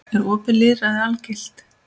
Er opið lýðræði algilt?